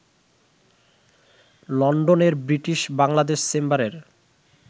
লন্ডনের ব্রিটিশ বাংলাদেশ চেম্বারের